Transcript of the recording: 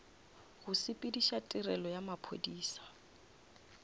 go sepediša tirelo ya maphodisa